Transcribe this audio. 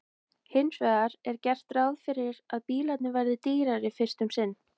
Hins vegar er gert ráð fyrir að bílarnir verði dýrari fyrst um sinn.